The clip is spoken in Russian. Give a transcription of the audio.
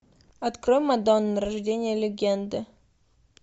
открой мадонна рождение легенды